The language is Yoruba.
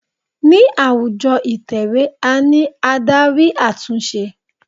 Ní àwùjọ ìtẹ̀wẹ́ a ní Ádárì àtúnṣe.